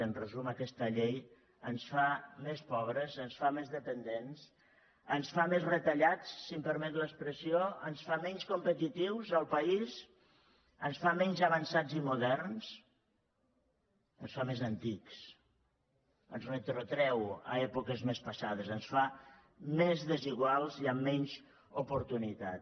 en resum aquesta llei ens fa més pobres ens fa més dependents ens fa més retallats si em permet l’expressió ens fa menys competitius al país ens fa menys avançats i moderns ens fa més antics ens retrotreu a èpoques més passades ens fa més desiguals i amb menys oportunitats